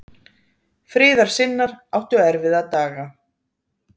Friðarsinnar áttu erfiða daga.